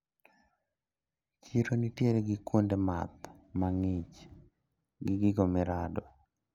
Chiro nitiere gi kuonde math mang`ich gi gigo mirado.